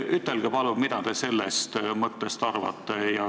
Ütelge palun, mida te sellest mõttest arvate.